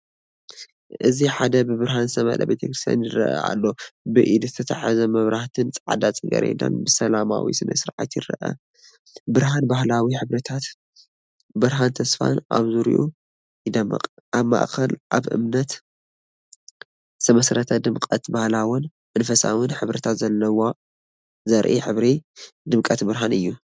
እዚ ሓደ ብብርሃን ዝተመልአ ቤተ ክርስቲያን ይረአ ኣሎ። ብኢድ ዝተታሕዘ መብራህትን ጻዕዳ ጽጌረዳን ብሰላማዊ ስነ-ስርዓት ይርአ። ብርሃን ባህላዊ ሕብርታትን ብርሃን ተስፋን ኣብ ዙርያኡ ይደምቕ፤ ኣብ ማእኸል ኣብ እምነት ዝተመስረተ ድምቀት ባህላውን መንፈሳውን ሕብርታት ዘርኢ ሕብረት ድምቀትብርሃን እዩ።